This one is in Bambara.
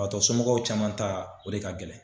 baatɔ somɔgɔw caman ta o de ka gɛlɛn.